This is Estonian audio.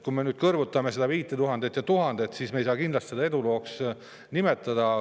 Kui me nüüd kõrvutame seda 5000 ja 1000, siis me ei saa kindlasti seda edulooks nimetada.